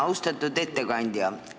Austatud ettekandja!